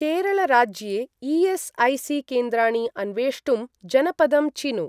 केरळ राज्ये ई.एस्.ऐ.सी.केन्द्राणि अन्वेष्टुं जनपदं चिनु।